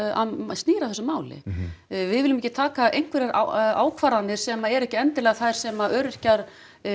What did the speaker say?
snýr að þessu máli við viljum ekki taka einhverjar ákvarðanir sem eru ekki endilega þær sem öryrkjar